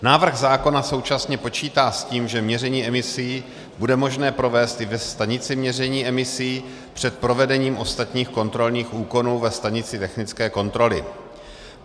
Návrh zákona současně počítá s tím, že měření emisí bude možné provést i ve stanici měření emisí před provedením ostatních kontrolních úkonů ve stanici technické kontroly.